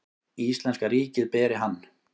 Íslenska ríkið beri hann.